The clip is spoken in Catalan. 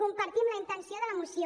compartim la intenció de la moció